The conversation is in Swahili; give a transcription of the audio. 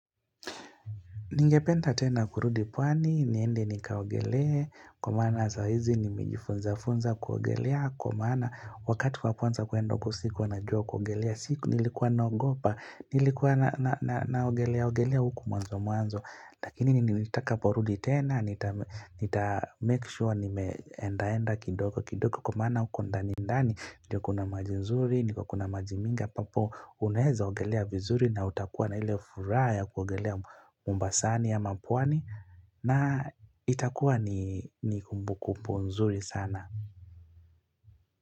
Ningependa tena kurudi pwani, niende nikaogelea, kwa maana saa hizi nimejifunza funza kuogelea, kwa maana wakati wa kwanza kuenda sikuwa najua kuogelea, siku nilikuwa naogopa, nilikuwa naogelea, ogelea huku mwanzo mwanzo, lakini nilitakaporudi tena, nita make sure nimeenda enda kidogo kidogo, kwa maana huko ndani ndani, ndio kuna maji nzuri, ndio kuna maji mingi ambapo uneza ogelea vizuri na utakuwa na ile furaha kuogelea mombasa. Nani ama pwani na itakuwa ni kumbu kumbu nzuri sana.